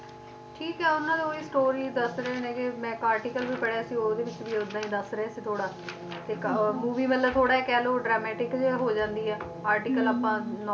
ਠੀਕ ਹੈ ਉਹਨਾਂ ਦੀ ਉਹੀ story ਦੱਸ ਰਹੇ ਨੇ ਗੇ ਮੈਂ ਇੱਕ article ਵੀ ਪੜ੍ਹਿਆ ਸੀ ਉਹਦੇ ਵਿੱਚ ਵੀ ਉਹਦਾ ਹੀ ਦੱਸ ਰਹੇ ਸੀ ਥੋੜਾ ਤੇ ਇੱਕ ਅਹ movie ਵੱਲੋਂ ਥੋੜਾ ਕਹਿਲੋ dramatic ਜਿਹਾ ਹੋ ਜਾਂਦੀ ਆ article ਆਪਾਂ